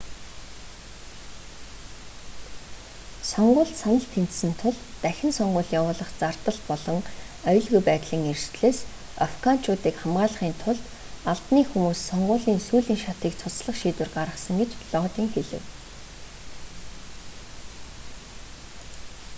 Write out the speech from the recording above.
сонгуульд санал тэнцсэн тул дахин сонгууль явуулах зардал болон аюулгүй байдлын эрсдлээс афганчуудыг хамгаалахын тулд албаны хүмүүс сонгуулийн сүүлийн шатыг цуцлах шийдвэр гаргасан гэж лодин хэлэв